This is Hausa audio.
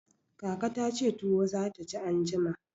Kaka ta ce tuwo za ta ci anjima.